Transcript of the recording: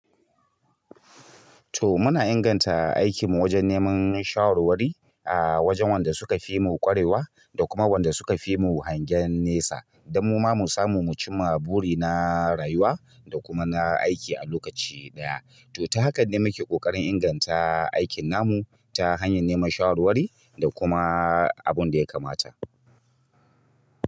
To muna inganta aikin mu wajen neman shawarwari, a wajen wanda suka fi mu ƙwarewa da kuma wanda suka fi mu hangen nesa don mu ma mu samu mu cimma buri na rayuwa da kuma na aiki a lokaci ɗaya. To ta hakan ne muke ƙoƙarin inganta aikin namu ta hanyan neman shawarwari da kuma abunda ya kamata.